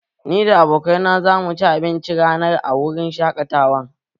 Ni da abokaina za mu ci abincin rana a wurin shaƙatawan